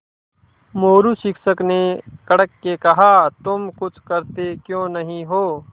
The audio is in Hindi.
मोरू शिक्षक ने कड़क के कहा तुम कुछ करते क्यों नहीं हो